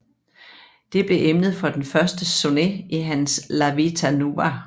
Det blev emnet for den første sonet i hans La Vita Nuova